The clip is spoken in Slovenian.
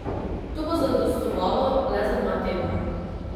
To bo zadostovalo le za dva tedna.